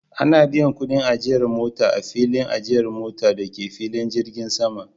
Ana biyan kudin ajiyar mota a filin ajiyar mota da ke filin jirgin sama